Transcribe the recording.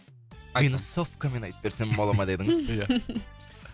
минусовкамен айтып берсем бола ма дедіңіз ия